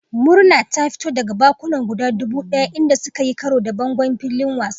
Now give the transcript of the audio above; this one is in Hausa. Murna ta fito daga bakuna guda dubu daya inda suka yi karo da bangon filin wasan.